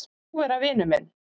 Vilt þú vera vinur minn?